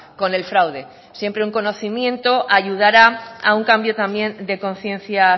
con el fraude siempre un conocimiento ayudará a un cambio también de conciencia